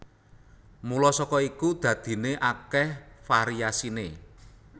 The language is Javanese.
Mula saka iku dadiné akèh variasiné